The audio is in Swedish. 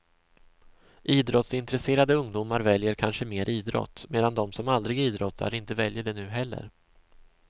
Idrottsintresserade ungdomar väljer kanske mer idrott, medan de som aldrig idrottar inte väljer det nu heller.